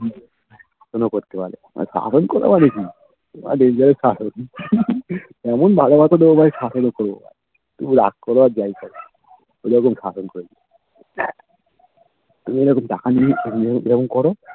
phone করতে পারো শাসন করা মানে কি Dangerous শাসন যেমন ভালোবাসা দেব তেমন শাসন ও করবো তুমি রাগ করো আর যাই কারো এই রকম শাসন করবোও যদি টাকা নিয়ে সরে যাবো plan করে